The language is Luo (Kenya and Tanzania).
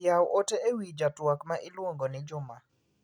Yaw ote ewi ja twak ma iluong'o ni Juma.